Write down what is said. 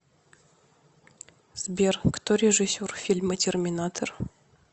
сбер кто режиссер фильма терминатор